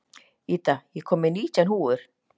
Ida, ég kom með nítján húfur!